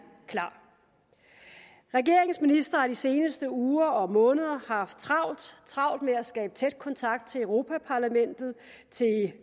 klar regeringens ministre har de seneste uger og måneder haft travlt med at skabe tæt kontakt til europa parlamentet